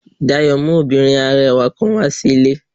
Dayo mu obinrin arẹwa kan wa si ile.